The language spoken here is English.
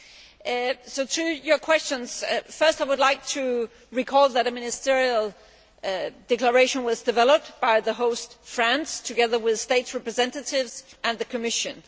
In reply to your questions, first I would like to recall that a Ministerial Declaration was developed by the host, France, together with states' representatives and the Commission.